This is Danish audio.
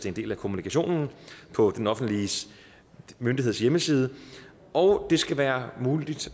en del af kommunikationen på den offentlige myndigheds hjemmeside og det skal være muligt